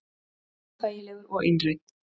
Óþægilegur og einrænn.